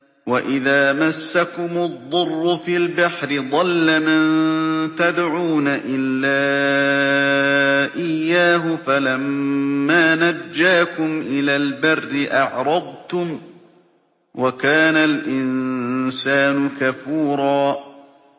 وَإِذَا مَسَّكُمُ الضُّرُّ فِي الْبَحْرِ ضَلَّ مَن تَدْعُونَ إِلَّا إِيَّاهُ ۖ فَلَمَّا نَجَّاكُمْ إِلَى الْبَرِّ أَعْرَضْتُمْ ۚ وَكَانَ الْإِنسَانُ كَفُورًا